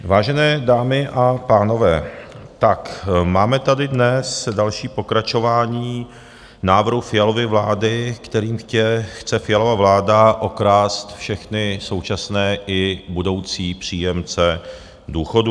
Vážené dámy a pánové, tak máme tady dnes další pokračování návrhu Fialovy vlády, kterým chce Fialova vláda okrást všechny současné i budoucí příjemce důchodů.